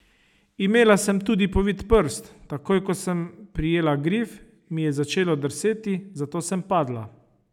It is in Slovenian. Imela sem tudi povit prst, takoj ko sem prijela grif mi je začelo drseti, zato sem padla.